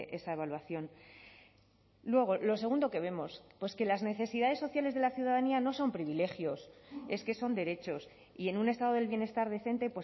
esa evaluación luego lo segundo que vemos pues que las necesidades sociales de la ciudadanía no son privilegios es que son derechos y en un estado del bienestar decente